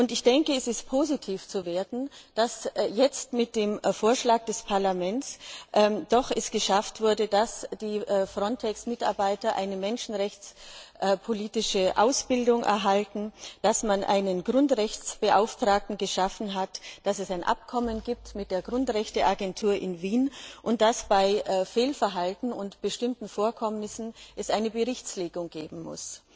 Ich denke, es ist positiv zu werten, dass es jetzt mit dem Vorschlag des Parlaments doch geschafft wurde, dass die FRONTEX Mitarbeiter eine menschenrechtspolitische Ausbildung erhalten, dass man einen Grundrechtsbeauftragten geschaffen hat, dass es ein Abkommen mit der Grundrechteagentur in Wien gibt, und dass es bei Fehlverhalten und bestimmten Vorkommnissen eine Berichtslegung geben muss.